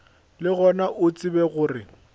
le gona o tsebe gore